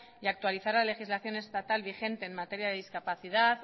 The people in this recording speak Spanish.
y actualizar la legislación estatal vigente en materia de discapacidad